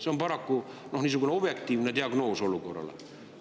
See on paraku objektiivne diagnoos olukorrale.